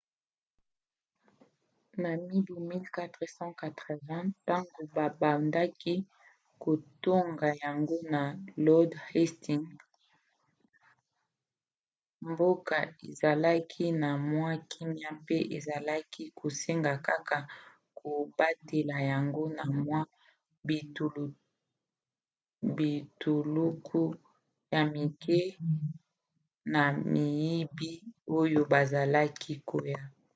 na mibu 1480 ntango babandaki kotonga yango na lord hastings mboka ezalaki na mwa kimia mpe ezalaki kosenga kaka kobatela yango na mwa bituluku ya mike ya miyibi oyo bazalaki koya